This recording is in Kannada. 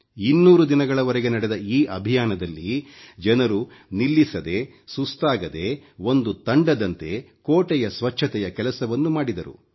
200 ದಿನಗಳವರೆಗೆ ನಡೆದ ಈ ಅಭಿಯಾನದಲ್ಲಿ ಜನರು ನಿಲ್ಲಿಸದೆ ಸುಸ್ತಾಗದೆ ಒಂದು ತಂಡದಂತೆ ಕೋಟೆಯ ಸ್ವಚ್ಚತೆಯ ಕೆಲಸವನ್ನು ಮಾಡಿದರು